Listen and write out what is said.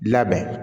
Labɛn